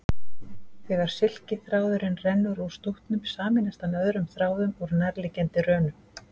Þegar silkiþráðurinn rennur úr stútnum sameinast hann öðrum þráðum úr nærliggjandi rönum.